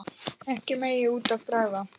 Ekkert megi út af bregða.